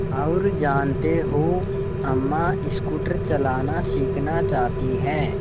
और जानते हो अम्मा स्कूटर चलाना सीखना चाहती हैं